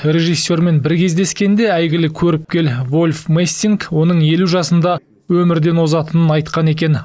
режиссермен бір кездескенде әйгілі көріпкел вольф мессинг оның елу жасында өмірден озатынын айтқан екен